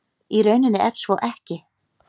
Í rauninni er svo ekki